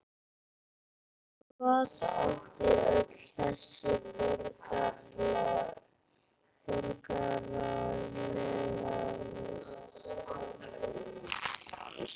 Hvað átti öll þessi borgaralega velsæld að fyrirstilla?